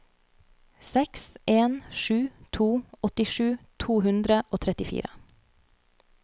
seks en sju to åttisju to hundre og trettifire